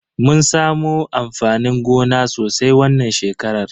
Mun samu amfanin gona sosai wannan shekarar.